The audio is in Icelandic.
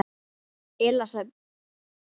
Elísabet Hall: Er þetta dóra?